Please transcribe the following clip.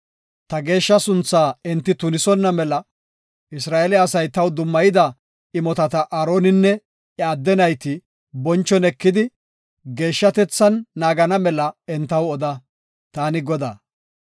Ta geeshsha sunthaa enti tunisonna mela, Isra7eele asay taw dummayida imotata Aaroninne iya adde nayti bonchon ekidi, geeshshatethan naagana mela entaw oda. Taani Godaa.